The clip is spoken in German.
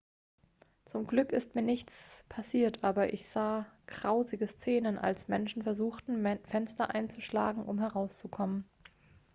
zum glück ist mir nichts passiert aber ich sah grausige szenen als menschen versuchten fenster einzuschlagen um herauszukommen